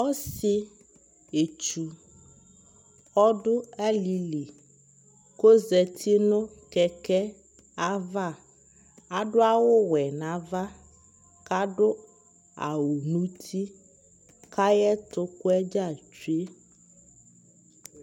ɔsii ɛtsʋ ɔdʋ alili kʋ ɔzati nʋ kɛkɛ aɣa, adʋ awʋ wɛ nʋ aɣa kadʋ awʋ nʋ ʋti kʋ ayɛtʋ kwɛ dza twɛ